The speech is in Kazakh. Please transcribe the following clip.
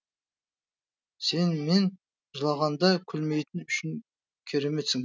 сен мен жылағанда күлмейтінін үшін кереметсің